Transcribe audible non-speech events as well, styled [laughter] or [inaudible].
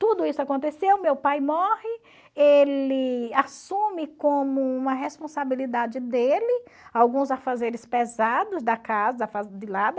Tudo isso aconteceu, meu pai morre, ele assume como uma responsabilidade dele alguns afazeres pesados da casa [unintelligible]